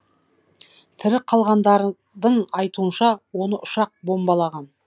тірі қалғандардың айтуынша оны ұшақ бомбалаған